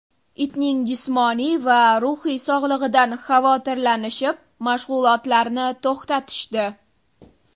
Itning jismoniy va ruhiy sog‘lig‘idan xavotirlanishib mashg‘ulotarni to‘xtatishdi.